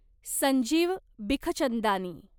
Sanjeev Bikhchandani